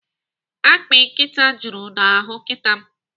Akpị nkịta juru n'ahụ nkịta m.